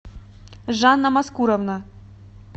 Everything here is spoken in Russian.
жанна маскуровна